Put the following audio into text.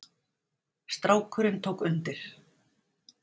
Strákurinn tók undir.